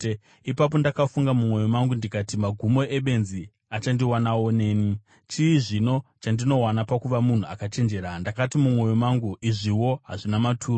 Ipapo ndakafunga mumwoyo mangu ndikati, “Magumo ebenzi achandiwanawo neni. Chii zvino chandinowana pakuva munhu akachenjera?” Ndakati mumwoyo mangu, “Izviwo hazvina maturo.”